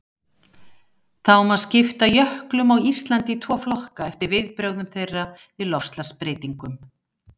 Þá má skipta jöklum á Íslandi í tvo flokka eftir viðbrögðum þeirra við loftslagsbreytingum.